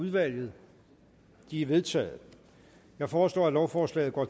udvalget de er vedtaget jeg foreslår at lovforslaget går